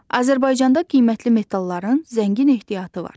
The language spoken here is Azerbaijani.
Azərbaycanda qiymətli metalların zəngin ehtiyatı var.